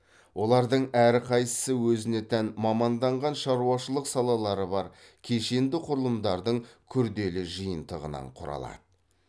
олардың әрқайсысы өзіне тән маманданған шаруашылық салалары бар кешенді құрылымдардың күрделі жиынтығынан құралады